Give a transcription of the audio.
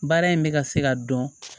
Baara in bɛ ka se ka dɔn